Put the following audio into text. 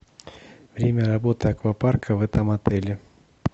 время работы аквапарка в этом отеле